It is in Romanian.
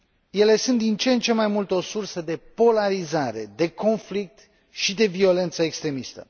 Ele sunt din ce în ce mai mult o sursă de polarizare, de conflict și de violență extremistă.